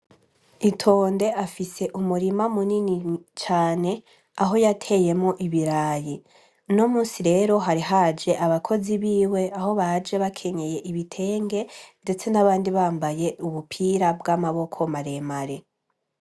Itonde afise umurima mu nini cane aho yateyemo ibiraye no musi rero hari haje abakozi biwe aho baje bakenyeye ibitenge, ndetse n'abandi bambaye ubupira bw'amaboko maremare.